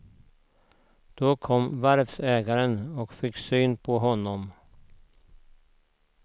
Då kom varvsägaren och fick syn på honom.